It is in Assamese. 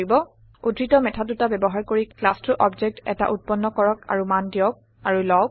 উৰ্দ্ধত মেথড দুটা ব্যৱহাৰ কৰি ক্লাছটোৰ অবজেক্ট এটা উত্পন্ন কৰক আৰু মান দিয়ক আৰু লওঁক